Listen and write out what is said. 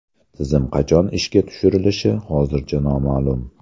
Tizim qachon ishga tushirilishi hozircha noma’lum.